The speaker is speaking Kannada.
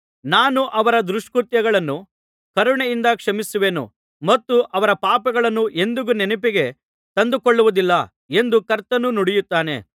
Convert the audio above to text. ನಾನು ಅವರ ದುಷ್ಕೃತ್ಯಗಳನ್ನು ಕರುಣೆಯಿಂದ ಕ್ಷಮಿಸುವೆನು ಮತ್ತು ಅವರ ಪಾಪಗಳನ್ನು ಎಂದಿಗೂ ನೆನಪಿಗೆ ತಂದುಕೊಳ್ಳುವುದಿಲ್ಲ ಎಂದು ಕರ್ತನು ನುಡಿಯುತ್ತಾನೆ